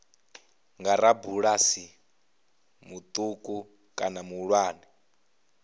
nga rabulasi muṱuku kana muhulwane